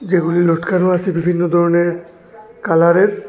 এগুলি লটকানো আছে বিভিন্ন ধরনের কালারের।